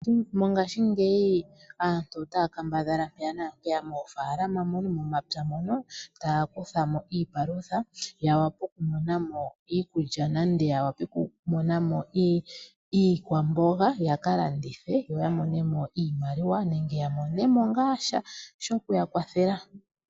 Mongaashingeyi aantu oya kambadhala mpeya naampeya moofaalama mono, momapya mono taya kuthamo iipalutha. Ya vule okumona mo iikulya nenge ya vule kumona mo iikwamboga ya kalandithe yo yamone mo iimaliwa nenge ya mone mo ngaa sha shokuya kwathela.